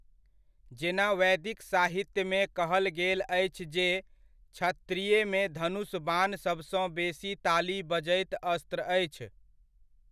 जेना वैदिक साहित्यमे कहल गेल अछि जे क्षत्रियमे धनुष बाण सबसँ बेसी ताली बजैत अस्त्र अछि।